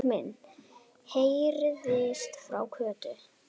Jesús minn! heyrðist frá Kötu.